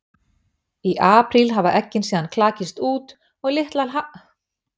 Í apríl hafa eggin síðan klakist út og litlar halakörtur synda um í tjörnum.